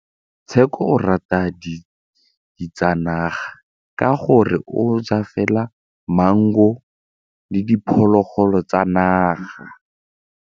Tshekô o rata ditsanaga ka gore o ja fela maungo le diphologolo tsa naga.